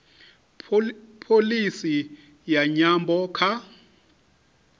pholisi ya nyambo kha